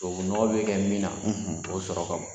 Tubabu nɔgɔ bɛ kɛ min na, o sɔrɔ ka bon